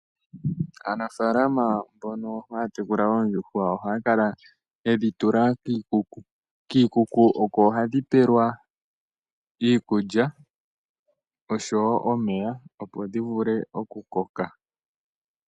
Aanafalama mbono haya tekula oondjuhwa ohaya kala yedhi tula kiikuku ,kiikuku oko hadhi pelwa iikulya oshowo omeya opo dhi vule oku koka.